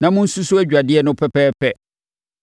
na monsusu adwadeɛ no pɛpɛɛpɛ.